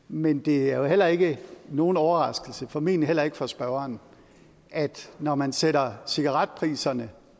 men det er heller ikke nogen overraskelse og formentlig heller ikke for spørgeren at når man sætter cigaretpriserne